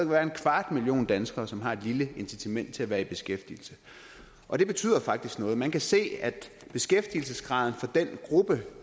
være en kvart million danskere som har et lille incitament til at være i beskæftigelse og det betyder faktisk noget man kan se at beskæftigelsesgraden for den gruppe